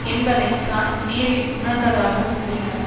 என்பதை தான் நேரில் உணர்ந்ததாக கூறினார்